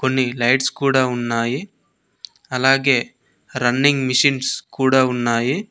కొన్ని లైట్స్ కూడా ఉన్నాయి అలాగే రన్నింగ్ మిషన్స్ కూడా ఉన్నాయి.